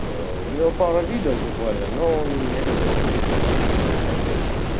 у него пара видео буквально но он мне который прописывает короче